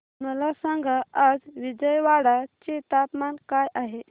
मला सांगा आज विजयवाडा चे तापमान काय आहे